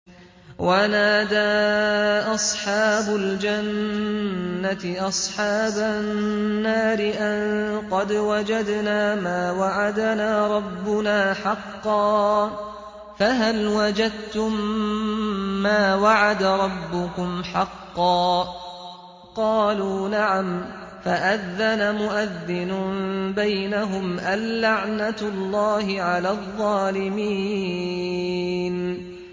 وَنَادَىٰ أَصْحَابُ الْجَنَّةِ أَصْحَابَ النَّارِ أَن قَدْ وَجَدْنَا مَا وَعَدَنَا رَبُّنَا حَقًّا فَهَلْ وَجَدتُّم مَّا وَعَدَ رَبُّكُمْ حَقًّا ۖ قَالُوا نَعَمْ ۚ فَأَذَّنَ مُؤَذِّنٌ بَيْنَهُمْ أَن لَّعْنَةُ اللَّهِ عَلَى الظَّالِمِينَ